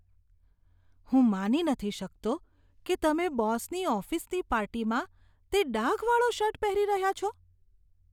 હું માની નથી થતો કે તમે બોસની ઓફિસની પાર્ટીમાં તે ડાઘવાળો શર્ટ પહેરી રહ્યા છો.